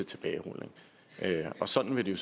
tilbagerulning og sådan vil det